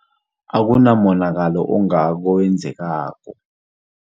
Akunamonakalo ongako owenzekako.